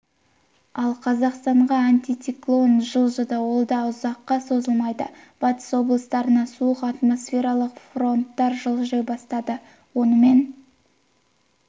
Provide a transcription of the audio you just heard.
ал қазақстанға антициклон жылжыды ол да ұзаққа созылмайды батыс облыстарына суық атмосфералық фронттар жылжи бастады онымен